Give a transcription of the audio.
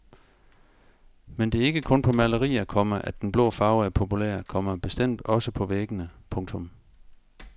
Men det er ikke kun på malerier, komma at den blå farve er populær, komma bestemt også på væggene. punktum